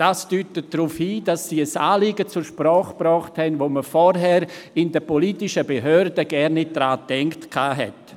Dies deutet darauf hin, dass sie ein Anliegen zur Sprache gebracht haben, an welches man in den politischen Behörden vorher nicht gedacht hat.